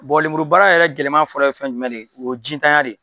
Bɔn lemuru baara yɛrɛ la gɛlɛnman fɔlɔ ye fɛn jumɛn de ye, o ye ji ntanya de ye.